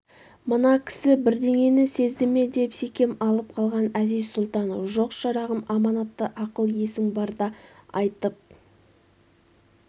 мына кісі бірдеңені сезді ме деп секем алып қалған әзиз-сұлтан жоқ шырағым аманатты ақыл-есің барда айтып